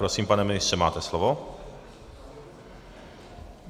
Prosím, pane ministře, máte slovo.